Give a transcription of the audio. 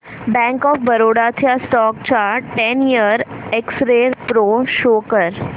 bank of Baroda च्या stock चा ten year X-ray pro show कर